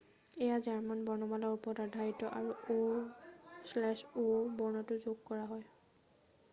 "এয়া জৰ্মান বৰ্ণমালাৰ ওপৰত আধাৰিত আৰু "õ/õ" বৰ্ণটো যোগ কৰা হৈছে।""